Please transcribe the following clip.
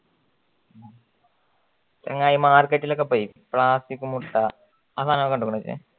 എങ്ങനെ ഈ മാർക്കറ്റിലൊക്കെ പോയി ഇപ്പൊ ആസിഫ് മുട്ട ആ സാധന